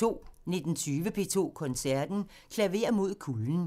19:20: P2 Koncerten – Klaver mod kulden